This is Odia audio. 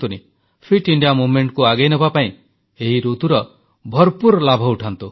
ଫିଟ ଇଣ୍ଡିଆ ଅଭିଯାନକୁ ଆଗେଇନେବା ପାଇଁ ଏହି ଋତୁର ଭରପୁର ଲାଭ ଉଠାନ୍ତୁ